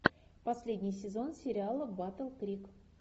последний сезон сериала батл крик